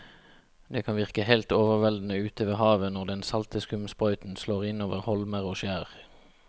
Det kan virke helt overveldende ute ved havet når den salte skumsprøyten slår innover holmer og skjær.